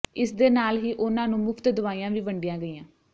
ਇਸਦੇ ਨਾਲ ਹੀ ਉਨ੍ਹਾਂ ਨੂੰ ਮੁਫ਼ਤ ਦਵਾਈਆਂ ਵੀ ਵੰਡੀਆਂ ਗਈਆਂ